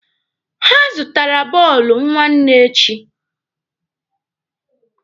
Ha zụtara bọọlụ nwanne echi.